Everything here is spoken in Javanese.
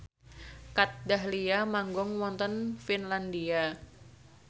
Kat Dahlia manggung wonten Finlandia